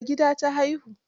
Ai gida ta haihu.